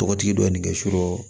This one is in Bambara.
Tɔgɔtigi dɔ nin bɛ surɔ